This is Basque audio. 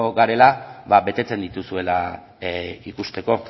garela betetzen dituzuela ikusteko